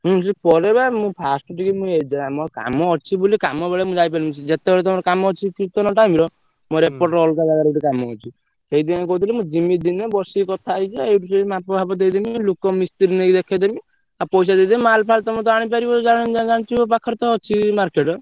ହୁଁ ସିଏ ପରେ ବା ମୁ first ରୁ ଟିକେ ମୋର କାମ ଅଛି ବୋଲି କାମ ବେଳେ ମୁ ଯାଇପାରିବିନି ଯେତେବେଳେ ତମର କାମ ଅଛି time ର ମୋର ଏପଟରେ ଅଲଗା ଜାଗାରେ ଗୋଟେ କାମ ଅଛି ସେଇଥିପାଇଁ ମୁ କହୁଥିଲି ମୁ ଜିମି ଦିନେ ବସିକି କଥା ହେଇଯିବା ମାପ ଫାପ ଦେଇଦେମି ଲୋକ ମିସ୍ତ୍ରୀ ନେଇକି ଦେଖେଇଦେମୀ ଆଉ ପଇସା ଦେଇଦେମି ମାଲ ଫାଲ ତମର ତ ଆଣିପାରିବ ଜାଣିଥିବ ପାଖରେ ତ ଅଛି market ।